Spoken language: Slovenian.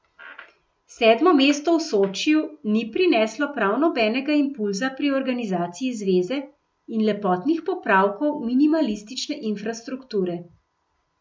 Sedmo mesto v Sočiju ni prineslo prav nobenega impulza pri organizaciji zveze in lepotnih popravkov minimalistične infrastrukture.